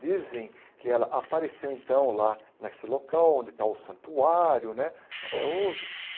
Dizem que ela apareceu, então, lá nesse local onde está o santuário né, até hoje.